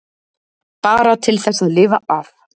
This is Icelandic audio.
Bara til þess að lifa af.